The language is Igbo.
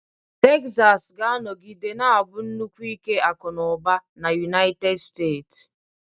Texas ga-anọgide na-abụ nnukwu ike akụ na ụba na United Steeti.